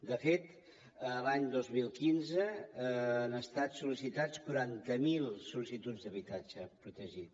de fet l’any dos mil quinze han estat sol·licitats quaranta miler sol·licituds d’habitatge protegit